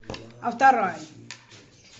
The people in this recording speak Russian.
авторай